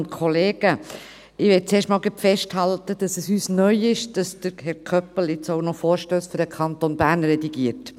Ich möchte zuerst gleich festhalten, dass es uns neu ist, dass Herr Köppel nun auch noch Vorstösse für den Kanton Bern redigiert.